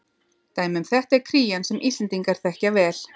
Dæmi um þetta er krían sem Íslendingar þekkja vel.